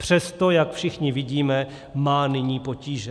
Přesto, jak všichni vidíme, má nyní potíže.